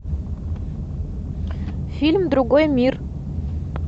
фильм другой мир